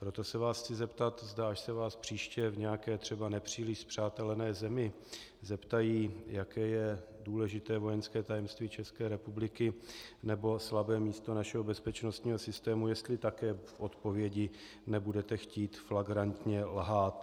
Proto se vás chci zeptat, až se vás příště v nějaké třeba nepříliš spřátelené zemi zeptají, jaké je důležité vojenské tajemství České republiky nebo slabé místo našeho bezpečnostního systému, jestli také v odpovědi nebudete chtít flagrantně lhát.